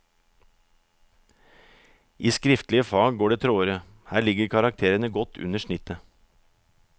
I skriftlige fag går det tråere, her ligger karakterene godt under snittet.